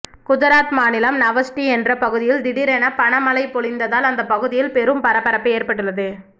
குஜராத் மாநிலம் நவஸ்ரீ என்ற பகுதியில் திடீரென பணமழை பொழிந்ததால் அந்த பகுதியில் பெரும் பரபரப்பு ஏற்பட்டுள்ளது